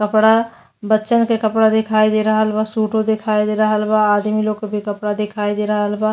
कपड़ा बच्चन के कपड़ा दिखाई दे रहल बा सुटो दिखाई दे रहल बा। आदमी लो के भी कपड़ा दिखाई दे रहल बा।